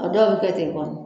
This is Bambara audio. Aw dɔw bɛ kɛ ten kɔnɔ.